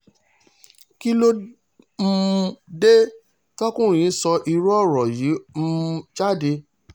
kí ló um dé tọkùnrin yìí sọ irú ọ̀rọ̀ yìí um jáde